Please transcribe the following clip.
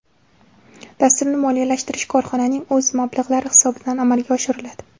Dasturni moliyalashtirish korxonaning o‘z mablag‘lari hisobidan amalga oshiriladi.